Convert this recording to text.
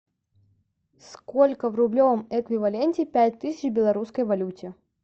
сколько в рублевом эквиваленте пять тысяч в белорусской валюте